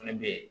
Fɛnɛ be yen